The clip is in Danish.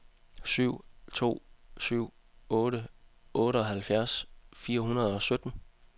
syv to syv otte otteoghalvfjerds fire hundrede og sytten